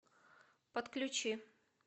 подключи